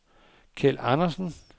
Keld Andersen